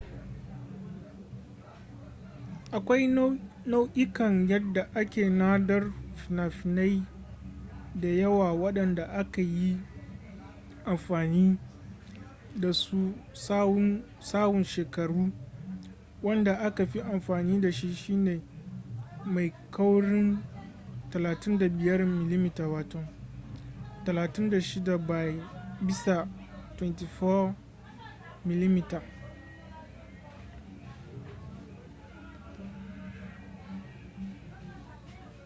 akwai nau'ikan yadda ake nadar fina-finai da yawa waɗanda aka yi amfani da su tsawon shekaru. wanda aka fi amfani da shi shine mai kaurin 35 mm 36 by 24 mm